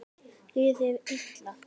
Líður þér illa?